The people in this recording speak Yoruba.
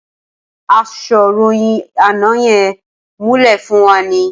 Asọ̀ròyìn àná yẹn muúlẹ̀ fún wa ni.